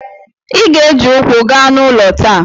Ị ga-eji ụkwụ gaa n'ụlọ taa!